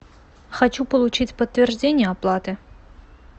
хочу получить подтверждение оплаты